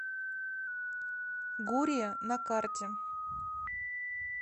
гурия на карте